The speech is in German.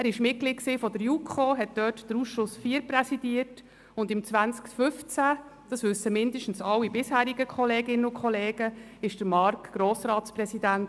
Er war Mitglieder der JuKo, präsidierte deren Ausschuss IV, und 2015 – das wissen zumindest alle bisherigen Kolleginnen und Kollegen – war er Grossratspräsident.